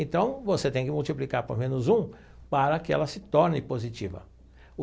Então você tem que multiplicar por menos um para que ela se torne positiva.